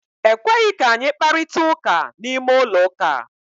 Ekweghị ka anyị kparitara ụka n'ime ụlọ ụka.